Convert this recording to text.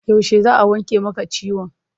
Yaushe za a wanke maka ciwon?